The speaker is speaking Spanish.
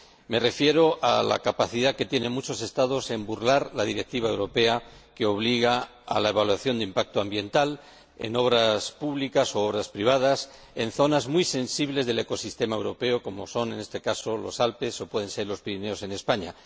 Me refiero a la capacidad que tienen muchos Estados para burlar la Directiva europea que obliga a la evaluación de impacto ambiental en obras públicas u obras privadas en zonas muy sensibles del ecosistema europeo, como son, en este caso, los Alpes, o pueden ser los Pirineos, en España.